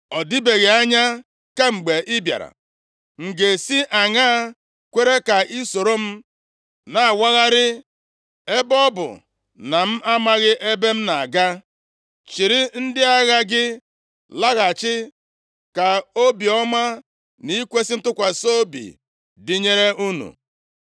Ọ dịbeghị anya kemgbe ị bịara. M ga-esi aṅaa kwere ka i soro m na-awagharị, ebe ọ bụ na m amaghị ebe m na-aga. Chịrị ndị agha gị laghachi. Ka obiọma na ikwesi ntụkwasị obi dịnyere unu.”